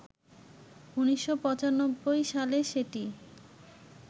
১৯৯৫ সালে সেটি